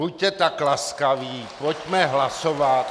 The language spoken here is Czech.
Buďte tak laskaví, pojďme hlasovat.